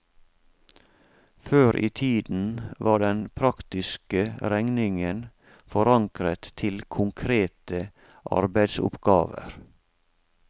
Før i tiden var den praktiske regningen forankret til konkrete arbeidsoppgaver.